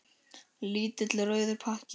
Lítill rauður pakki.